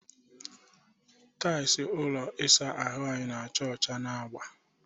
Tailụ ụlọ ịsa ahụ anyị na-acha ọcha na agba.